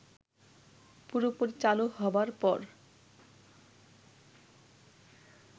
পুরোপুরি চালু হবার পর